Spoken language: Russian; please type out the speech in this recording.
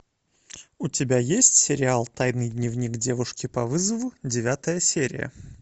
у тебя есть сериал тайный дневник девушки по вызову девятая серия